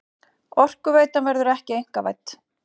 Orkuveitan verður ekki einkavædd